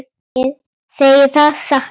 Ég segi það satt.